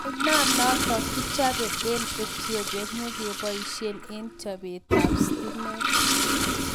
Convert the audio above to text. Ainonotok kichopee eng etiopia nyokepaishe eng chopet ap sitimet